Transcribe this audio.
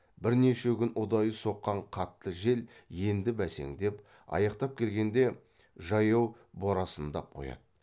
бірнеше күн ұдайы соққан қатты жел енді бәсеңдеп аяқтап келгенде жаяу борасындап қояды